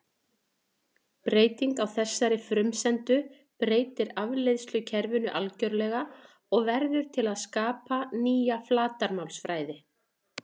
Ég veit það ekki sko.